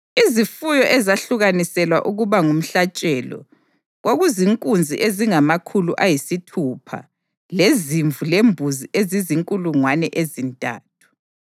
Izifuyo ezahlukaniselwa ukuba ngumhlatshelo kwakuzinkunzi ezingamakhulu ayisithupha lezimvu lembuzi ezizinkulungwane ezintathu.